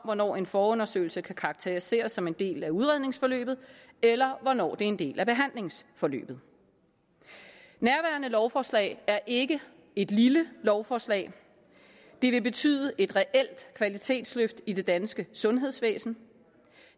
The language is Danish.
hvornår en forundersøgelse kan karakteriseres som en del af udredningsforløbet eller hvornår det er en del af behandlingsforløbet nærværende lovforslag er ikke et lille lovforslag det vil betyde et reelt kvalitetsløft i det danske sundhedsvæsen